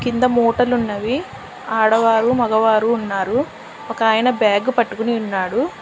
కింద మూటలున్నవి ఆడవారు మగవారు ఉన్నారు ఒకాయన బ్యాగు పట్టుకుని ఉన్నాడు.